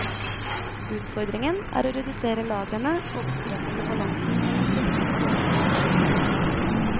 Utfordringen er å redusere lagrene og opprettholde balansen mellom tilbud og etterspørsel.